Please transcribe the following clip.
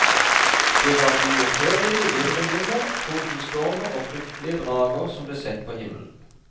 Det var uopphørlige virvelvinder, tordenstormer og fryktelige drager som ble sett på himmelen.